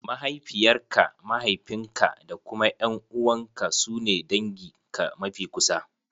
Mahaifiyar ka, mahaifin ka da kuma ƴan`uwan ka su ne dangin ka mafi kusa.